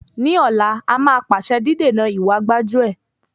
Ní ọ̀la, a máa pàṣẹ dídènà ìwa gbájú-ẹ̀.